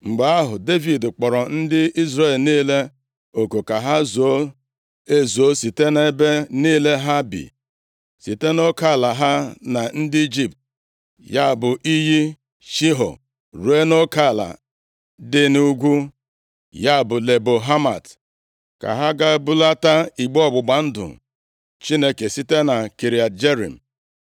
Mgbe ahụ, Devid kpọrọ ndị Izrel niile oku ka ha zuo ezuo site nʼebe niile ha bi, site nʼoke ala ha na ndị Ijipt, ya bụ iyi Shiho, ruo nʼoke ala dị nʼugwu, ya bụ Lebo Hamat, ka ha gaa bulata igbe ọgbụgba ndụ Chineke site na Kiriat Jearim.